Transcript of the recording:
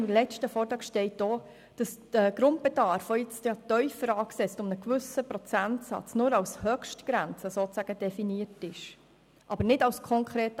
Im letzten Vortrag steht auch, dass der Grundbedarf, der jetzt um einen gewissen Prozentsatz tiefer angesetzt ist,